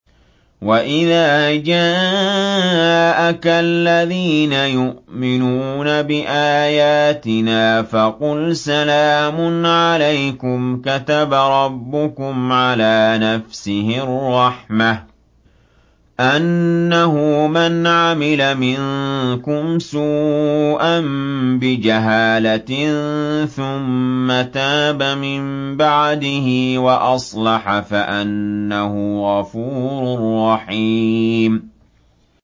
وَإِذَا جَاءَكَ الَّذِينَ يُؤْمِنُونَ بِآيَاتِنَا فَقُلْ سَلَامٌ عَلَيْكُمْ ۖ كَتَبَ رَبُّكُمْ عَلَىٰ نَفْسِهِ الرَّحْمَةَ ۖ أَنَّهُ مَنْ عَمِلَ مِنكُمْ سُوءًا بِجَهَالَةٍ ثُمَّ تَابَ مِن بَعْدِهِ وَأَصْلَحَ فَأَنَّهُ غَفُورٌ رَّحِيمٌ